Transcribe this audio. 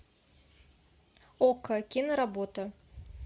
окко киноработа